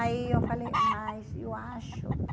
Aí eu falei, mas eu acho que...